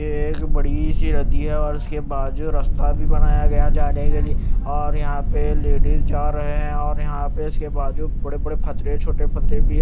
ये एक बड़ी सी नदी है और उसके बाजू रस्ता बनाया गया है जाने के लिए और यहां पे लेडिज जा रहे हैं और यहां पे इसके बाजू बड़े-बड़े पत्थरे छोटे पत्थरे भी है।